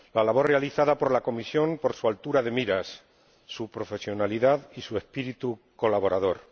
la labor realizada por la Comisión, por su altura de miras, su profesionalidad y su espíritu colaborador